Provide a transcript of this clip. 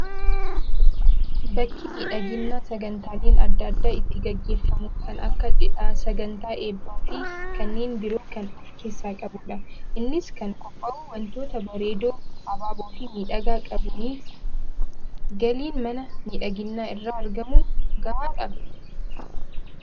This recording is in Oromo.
Bakki miidhaginaa sagantaaleen adda addaa itti gaggeeffamu kan akka cidhaa, sagantaa eebbaa fi kanneen biroo kan of keessaa qabudha. Innis kan qophaa'u wantoota bareedoo abaaboo fi miidhagaa qabuuni. Galiin mana miidhaginaa irraa argamu gahaadha?